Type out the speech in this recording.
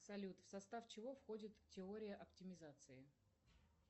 салют в состав чего входит теория оптимизации